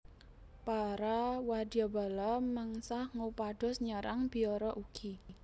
Para wadyabala mengsah ngupados nyerang biara ugi